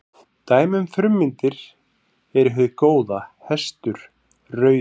Dæmi um frummyndir eru hið góða, hestur, rauður.